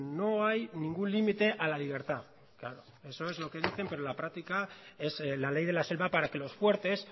no hay ningún límite a la libertad claro eso es lo que dicen pero en la práctica es la ley de la selva para que los fuertes